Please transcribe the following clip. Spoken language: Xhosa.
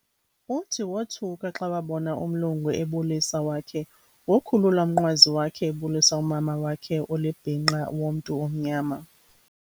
Uthi wothuka xa wabona umlungu ebulisa wakhe ngo khulula umnqwazi wakhe ebulisa umama wakhe olibhinqa womntu omnyama